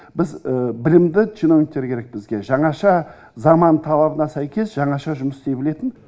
біз білімді чиновниктер керек бізге жаңаша заман талабына сәйкес жаңаша жұмыс істей білетін